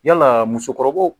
Yalaa musokɔrɔbaw